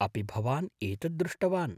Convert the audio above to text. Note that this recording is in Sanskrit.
अपि भवान् एतत् दृष्टवान् ?